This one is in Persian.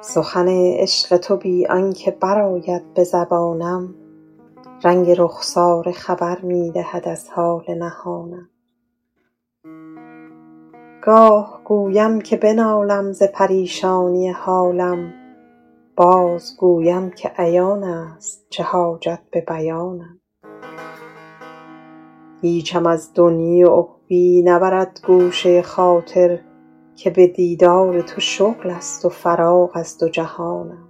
سخن عشق تو بی آن که برآید به زبانم رنگ رخساره خبر می دهد از حال نهانم گاه گویم که بنالم ز پریشانی حالم بازگویم که عیان است چه حاجت به بیانم هیچم از دنیی و عقبیٰ نبرد گوشه خاطر که به دیدار تو شغل است و فراغ از دو جهانم